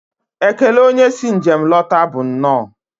Ekele onye si njem lọta bụ nnọọ.